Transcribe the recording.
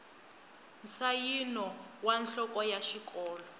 nsayino wa nhloko ya xikolo